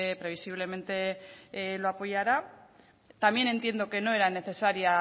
previsiblemente lo apoyará también entiendo que no era necesaria